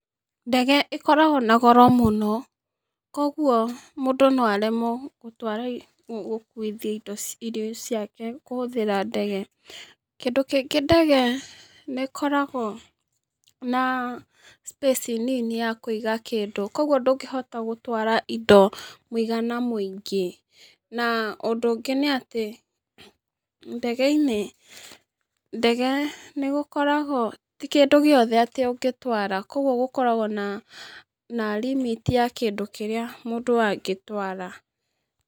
Ndege ĩkoragwo na goro mũno, koguo, mũndũ noaremwo gũtwa gũgũ gũkuithia indo ciake kũhũthĩra ndege, kĩndũ kĩngĩ ndege, nĩkoragwo na, space nini ya kũiga kĩndũ koguo ndũngĩhota gũtwara indo mũigana mũingĩ, na ũndũ ũngĩ nĩatĩ, ndege-inĩ, ndege nĩgũkoragwo, ti kĩndũ giothe atĩ ũngĩtwara, koguo gũkoragwo na, na limit ya kĩndũ kĩrĩa mũndũ angĩtwara.